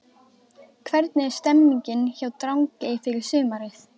Hvernig er stemningin hjá Drangey fyrir sumarið?